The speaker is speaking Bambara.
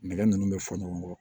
Nɛgɛ ninnu bɛ fɔ ɲɔgɔn kɔ